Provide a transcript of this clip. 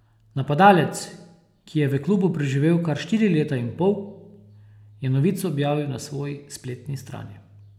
Napadalec, ki je v klubu preživel kar štiri leta in pol, je novico objavil na svoji spletni strani.